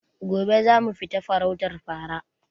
Gobe zamu fita farautar fara